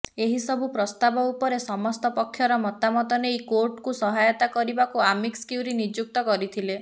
ଏହିସବୁ ପ୍ରସ୍ତାବ ଉପରେ ସମସ୍ତ ପକ୍ଷର ମତାମତ ନେଇ କୋର୍ଟଙ୍କୁ ସହାୟତା କରିବାକୁ ଆମିକସ କ୍ୟୁରି ନିଯୁକ୍ତ କରିଥିଲେ